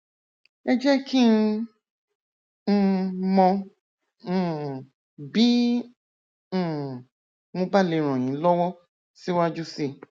ẹ jẹ kí n um mọ um bí um mo bá lè ràn yín lọwọ síwájú sí i